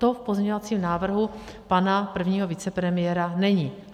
To v pozměňovacím návrhu pana prvního vicepremiéra není.